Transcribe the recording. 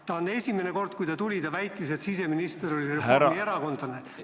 See pole esimene kord, kui ta tuli ja väitis, et siseminister oli reformierakondlane.